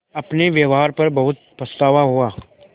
अपने व्यवहार पर बहुत पछतावा हुआ